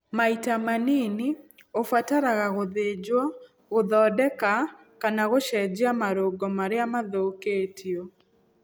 Maita manini, ũbataraga gũthinjwo gũthondeka kana gũcenjia marũngo marĩa mathũkĩtio.